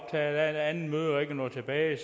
af et andet møde og ikke er nået tilbage i